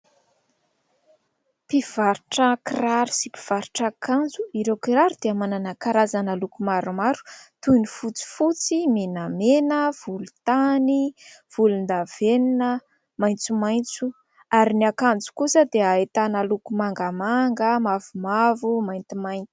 Mpivaritra kiraro sy mpivarotra akanjo ireo kiraro dia manana karazana loko maromaro toy ny fotsifotsy, menamena, volontany, volondavenona, maitsomaitso ary ny akanjo kosa dia ahitana loko mangamanga, mavomavo, maintimainty.